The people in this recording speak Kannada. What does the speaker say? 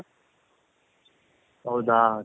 ಹೌದ